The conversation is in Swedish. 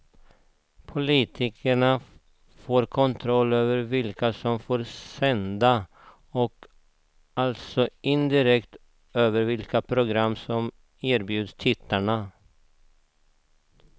Politikerna får kontroll över vilka som får sända och alltså indirekt över vilka program som erbjuds tittarna.